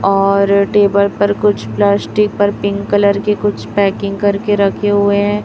और टेबल पर कुछ प्लास्टिक पर पिंक कलर के कुछ पैकिंग करके रखे हुए हैं।